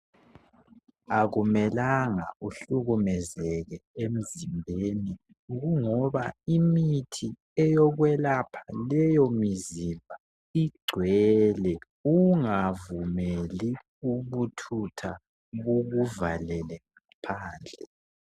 Akumelanga uhlukumezeke emzimbeni ,kungoba imithi eyokwelapha leyo mizimba igcwele .Ungavumeli ubuthutha bukuvalele ngaphandle.